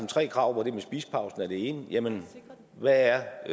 tre krav hvor det med spisepausen er det ene jamen hvad er